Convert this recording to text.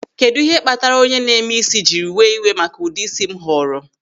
Kedụ ihe kpatara onye na-eme ísí jiri wee iwe maka ụdị ịsị m họrọ.